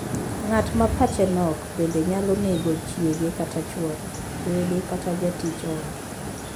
Ng'at ma pache nok bende nyalo nego chiege kata chwore, wede, kata jatij ot.